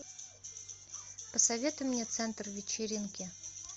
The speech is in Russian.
посоветуй мне центр вечеринки